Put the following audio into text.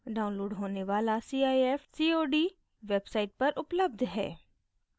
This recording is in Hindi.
downloadable होने वाला cif cod website पर उपलब्ध है